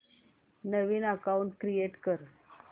नवीन account create कर